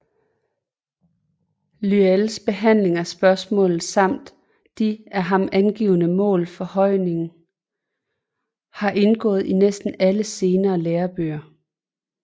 Lyells behandling af spørgsmålet samt de af ham angivne mål for højningen har indgået i næsten alle senere lærebøger